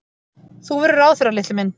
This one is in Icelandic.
Þú verður ráðherra, litli minn.